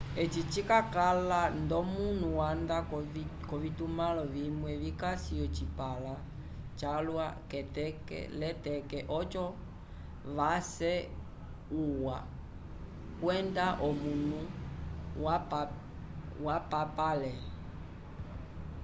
eci cikalakala nd'omanu vanda k'ovitumãlo vimwe vikasi ocipãla calwa k'eteke-l'eteke oco vace uwa kwenda omanu vapapale